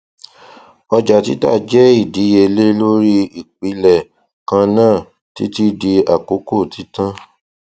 ọjà títà jẹ ìdíyèlé lori ìpìlẹ kanna títí di àkókò títan